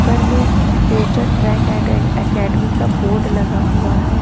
पर मे future track attack academy का बोर्ड लगा हुआ है।